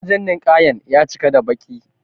wajen ninƙaya ya cika da baƙi